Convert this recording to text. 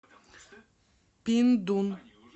пиндун